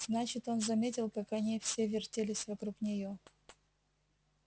значит он заметил как они все вертелись вокруг неё